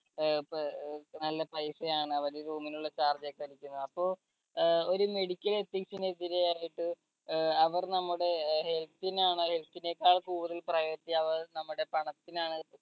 ഏർ പ നല്ല പൈസ ആണ് അവര് room നുള്ള charge ഒക്കെ എടുക്കുന്നത് അപ്പൊ ഏർ ഒരു medical ethics നെതിരെ ആയിട്ട് ഏർ അവർ നമ്മുടെ health നാണോ health നേക്കാൾ കൂടുതൽ priority അവർ നമ്മുടെ പണത്തിനാണോ